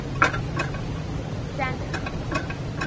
sandf